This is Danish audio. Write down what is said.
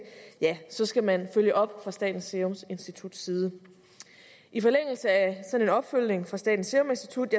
skal man følge op fra statens serum instituts side i forlængelse af en sådan opfølgning fra statens serum institut